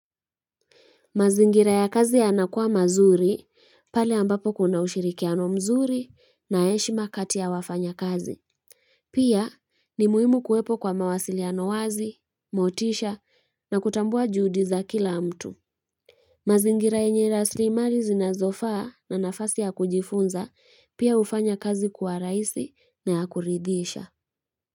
Mazingira ya kazi yanakua mazuri, pale ambapo kuna ushirikiano mzuri na heshima kati ya wafanyakazi. Pia ni muhimu kuwepo kwa mawasiliano ya wazi, motisha na kutambua juhudi za kila mtu. Mazingira yenye rasilimali zinazofaa na nafasi ya kujifunza pia hufanya kazi kuwa raisi na ya kuridhisha.